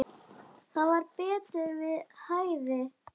Það var betur við hæfi.